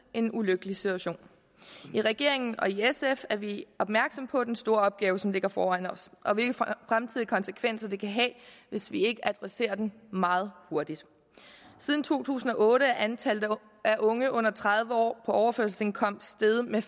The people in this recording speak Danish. en ulykkelig situation i regeringen og i sf er vi opmærksomme på den store opgave som ligger foran os og hvilke fremtidige konsekvenser det kan have hvis vi ikke adresserer den meget hurtigt siden to tusind og otte er antallet af unge under tredive år på overførselsindkomst steget med